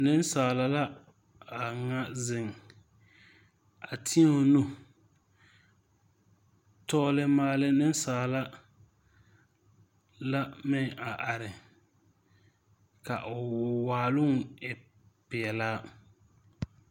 Neŋsaala la a ŋa zeŋ a teɛ o nu tɔgle maale neŋsaala la meŋ are ka o waaloŋ e peɛlaa.